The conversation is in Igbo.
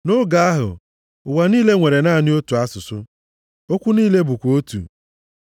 Nʼoge ahụ, ụwa niile nwere naanị otu asụsụ, okwu niile bụkwa otu.